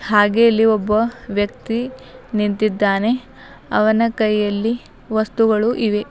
ಹಾಗೆ ಅಲ್ಲಿ ಒಬ್ಬ ವ್ಯಕ್ತಿ ನಿಂತಿದ್ದಾನೆ ಅವನ ಕೈಯಲ್ಲಿ ವಸ್ತುಗಳು ಇವೆ.